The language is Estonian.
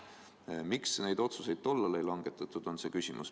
Miks neid otsuseid tollal ei langetatud – see on küsimus.